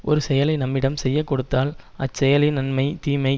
ஒரு செயலை நம்மிடம் செய்ய கொடுத்தால் அச்செயலின் நன்மை தீமை